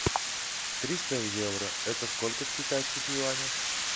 триста евро это сколько в китайских юанях